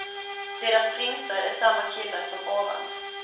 Deras prinsar är samma killar som ovan.